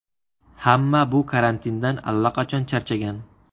Hamma bu karantindan allaqachon charchagan.